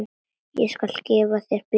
Ég skal gefa þér bjór.